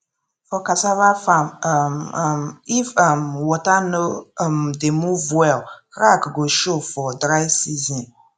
for cassava farm um um if um water no um dey move well crack go show for dry season